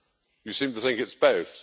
You seem to think it's both.